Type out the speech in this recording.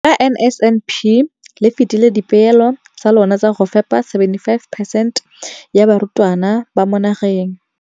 Ka NSNP le fetile dipeelo tsa lona tsa go fepa masome a supa le botlhano a diperesente ya barutwana ba mo nageng.